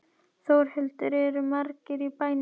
Þórhildur, eru margir í bænum?